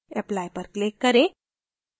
apply पर click करें